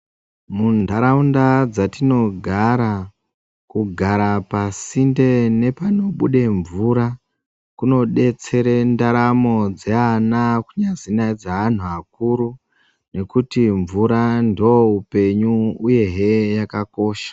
Muntaraunda dzatinogara, kugara pasi ndee nepanobuda mvura kunodetsere ntaramo dzeana kunasinaidzadze anhu akuru nekuti mvura ndo hupenyu, uyehe yakakosha.